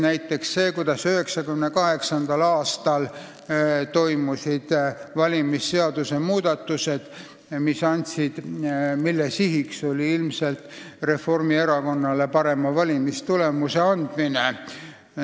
Näiteks see, kuidas 1998. aastal tehti valimisseaduses muudatused, mille sihiks oli ilmselt Reformierakonnale parema valimistulemuse võimaldamine.